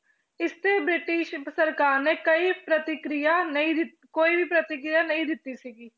ਇਸ ਤੇ ਬ੍ਰਿਟਿਸ਼ ਸਰਕਾਰ ਨੇ ਕਈ ਪ੍ਰਤੀਕਿਰਿਆ ਨਹੀਂ ਦਿੱ~ ਕੋਈ ਵੀ ਪ੍ਰਤੀਕਿਰਿਆ ਨਹੀਂ ਦਿੱਤੀ ਸੀਗੀ।